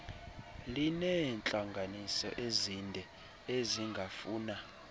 lineentlanganiso ezinde ezingafuna